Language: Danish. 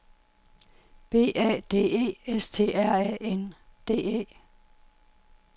B A D E S T R A N D E